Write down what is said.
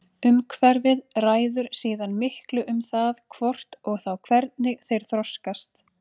Umhverfið ræður síðan miklu um það hvort og þá hvernig þeir þroskast.